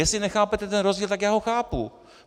Jestli nechápete ten rozdíl, tak já ho chápu.